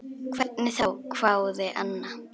Hvernig þá, hváði Anna.